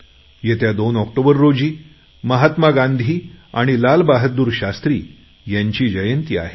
येत्या दोन ऑक्टोबर रोजी महात्मा गांधी आणि लालबहादूर शास्त्री यांची जयंती आहे